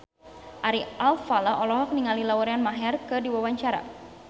Ari Alfalah olohok ningali Lauren Maher keur diwawancara